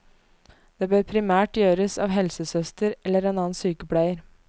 Det bør primært gjøres av helsesøster eller annen sykepleier.